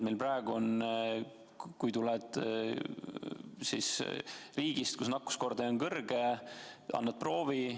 Meil on praegu nii, et kui tuled riigist, kus nakkuskordaja on kõrge, siis annad proovi.